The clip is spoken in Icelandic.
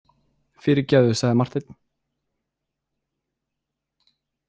Fyrirgefðu, sagði Marteinn.